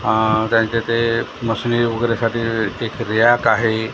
हा त्यांच्या ते मशिनी वगैरे साठी एक रॅक आहे.